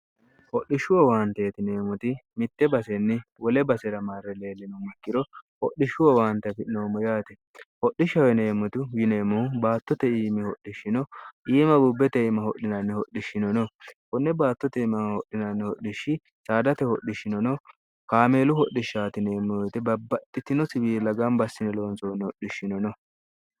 hodhishshu wowaanteetineemmoti mitte basenni wole basi'ra marri leellino makkiro hodhishshu wowaantefi noommo yaate hodhishshineemmotu wineemmohu baattote iimi hodhishshino iima bubbe teima hodhinanni hodhishshinono kunne baattote imm hodhinanni hodhishshi saadate hodhishshinono kaameelu hodhishshaatineemmoyote babbaxxitino siwiilagambassine loonsoonni hodhishshino no